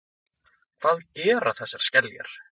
Hvað gera þessar skeljar?